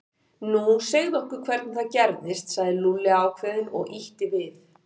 Nú, segðu okkur hvernig það gerðist sagði Lúlli ákveðinn og ýtti við